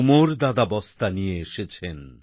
কুমোর দাদা বস্তা নিয়ে এসেছেন